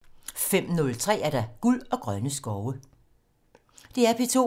DR P2